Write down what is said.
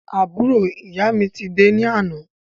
Àbúrò ìyá mi ti dé ní àná